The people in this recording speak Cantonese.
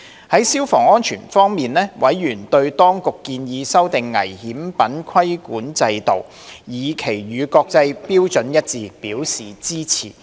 在消防安全方面，委員對當局建議修訂危險品規管制度，以期與國際標準一致，表示支持。